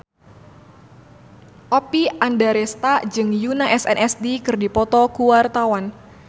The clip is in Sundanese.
Oppie Andaresta jeung Yoona SNSD keur dipoto ku wartawan